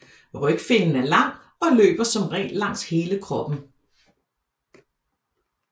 Rygfinnen er lang og løber som regel langs hele kroppen